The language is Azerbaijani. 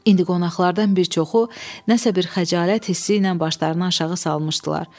İndi qonaqlardan bir çoxu nəsə bir xəcalət hissi ilə başlarını aşağı salmışdılar.